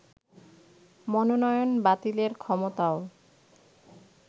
মনোনয়ন বাতিলের ক্ষমতাও